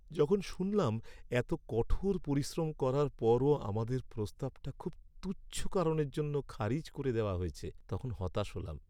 যখন শুনলাম এতো কঠোর পরিশ্রম করার পরও আমাদের প্রস্তাবটা খুব তুচ্ছ কারণের জন্য খারিজ করে দেওয়া হয়েছে তখন হতাশ হলাম।